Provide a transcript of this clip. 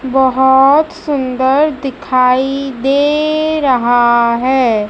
बहोत सुंदर दिखाई दे रहा है।